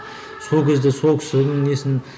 сол кезде сол кісінің несін